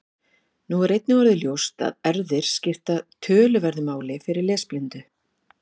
Nú er einnig orðið ljóst að erfðir skipta töluverðu máli fyrir lesblindu.